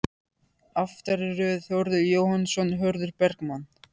Aftari röð: Þórður Jóhannsson, Hörður Bergmann